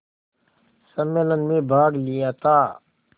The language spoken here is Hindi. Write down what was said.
सम्मेलन में भाग लिया था